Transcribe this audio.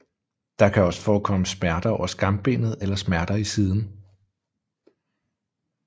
Der kan også forekomme smerter over skambenet eller smerter i siden